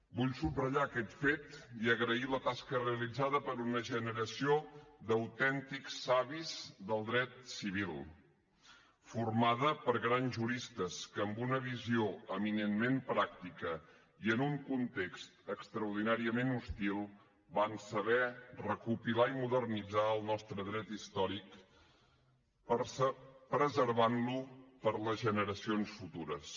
vull subratllar aquest fet i agrair la tasca realitzada per una generació d’autèntics savis del dret civil formada per grans juristes que amb una visió eminentment pràctica i en un context extraordinàriament hostil van saber recopilar i modernitzar el nostre dret històric preservant lo per a les generacions futures